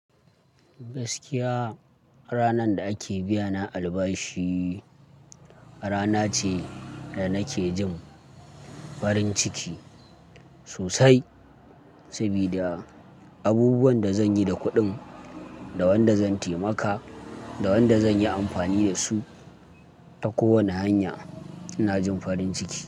Gaskiya ranan da ake biyana albashi rana ce da nake jin farin ciki sosai, sabida abubuwan da zan yi da kuɗin, da wanda zan taimaka, da wanda zan yi amfani da su ta kowani hanya ina jin farin ciki.